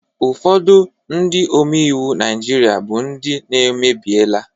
Ụfọdụ Ndị omeiwu Naijiria bu Ndị n' emebiela